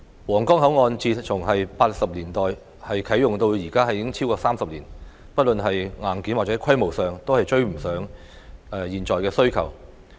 皇崗口岸自1980年代啟用至今已超過30年，不論是硬件或規模上都已追不上現今的需求。